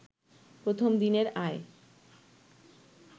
প্রথম দিনের আয়